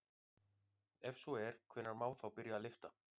Ef svo er hvenær má þá byrja að lyfta?